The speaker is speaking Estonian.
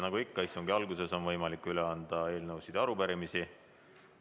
Nagu ikka, istungi alguses on võimalik üle anda eelnõusid ja arupärimisi.